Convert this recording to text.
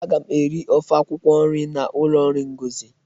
Aga m ofe akwukwọ nri n'ụlọ nri Ngozi.